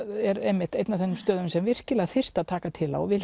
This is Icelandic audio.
er einmitt einn af þeim stöðum sem virkilega þyrfti að taka til á og